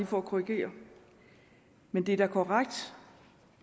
for at korrigere men det er da korrekt